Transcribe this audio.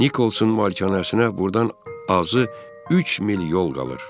Nikolsun malikanəsinə burdan azı üç mil yol qalır.